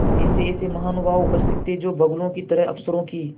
ऐसेऐसे महानुभाव उपस्थित थे जो बगुलों की तरह अफसरों की